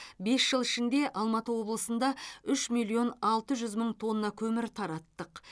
бес жыл ішінде алматы облысында үш миллион алты жүз мың тонна көмір тараттық